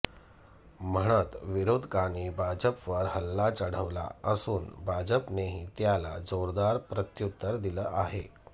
म्हणत विरोधकांनी भाजपवर हल्ला चढवला असून भाजपनेही त्याला जोरदार प्रत्युत्तर दिलं आहे